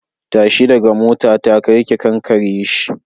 Tashi daga motata kar ki kankare shi.